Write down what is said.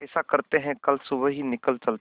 ऐसा करते है कल सुबह ही निकल चलते है